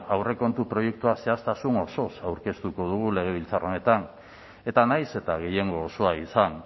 aurrekontu proiektua zehaztasun osoz aurkeztuko dugu legebiltzar honetan eta nahiz eta gehiengo osoa izan